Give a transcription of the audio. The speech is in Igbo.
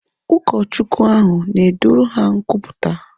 Ụlọ Chukwu ahu na ọ na edoru ha nkwupụta?